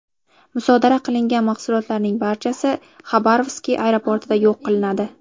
Musodara qilingan mahsulotlarning barchasi Xabarovsk aeroportida yo‘q qilinadi.